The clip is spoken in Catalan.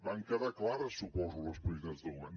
van quedar clares suposo les prioritats del govern